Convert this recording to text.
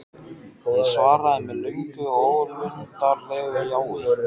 Ég svaraði með löngu og ólundarlegu jái.